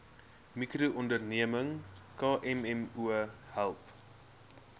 mikroonderneming kmmo help